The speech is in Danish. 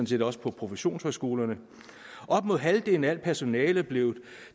set også på professionshøjskolerne op med halvdelen af al personale blev